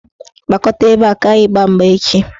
Gbakọta ebe a ka anyị gbaa mgba echi!